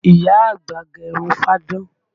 Ìyá àgbà gẹ irun fáadán